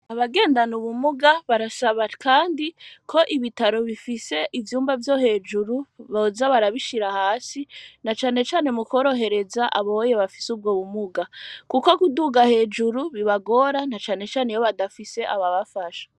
Abagendana ubumuga barashaba, kandi ko ibitaro bifise ivyumba vyo hejuru boza barabishira hasi na canecane mukworohereza aboye bafise ubwo bumuga, kuko guduga hejuru bibagora na canecane iyo badafise ababafasha.